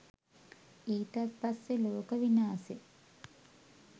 ඊටත් පස්සෙ ලෝක විනාසෙ